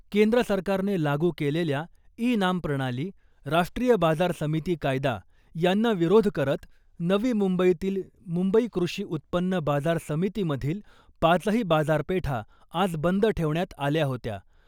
केंद्र सरकारने लागू केलेल्या ई नाम प्रणाली , राष्ट्रीय बाजार समिती कायदा यांना विरोध करत नवी मुंबईतील मुंबई कृषी उत्पन्न बाजार समितीमधील पाचही बाजारपेठा आज बंद ठेवण्यात आल्या होत्या .